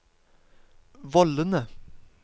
vollene